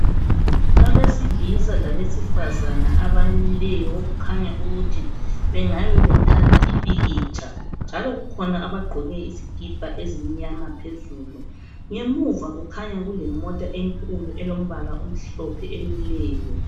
Abesilisa kabesifazane abamileyo. Okukhanya ukuthi bangabe bethatha ipikitsha, njalo kukhona abagqoke izikipa ezimnyama phezulu. Ngemuva kukhanya kulemota enkulu elombala omhlophe, emileyo.